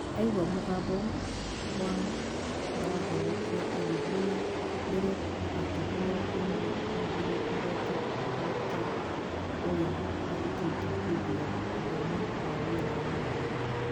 Aigua mũgambo wa marahonokia agĩthiĩ na mbere akihura ĩmwe igĩrĩ ithatũ o ta ũrĩa arutĩtwo hĩndĩ ya uthomi wa wĩra wa meri